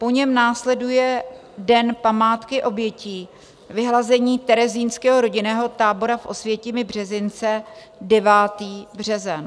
Po něm následuje Den památky obětí vyhlazení terezínského rodinného tábora v Osvětimi - Březince, 9. březen.